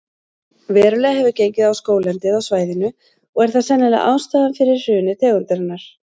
Verulega hefur gengið á skóglendið á svæðinu og er það sennilega ástæðan fyrir hruni tegundarinnar.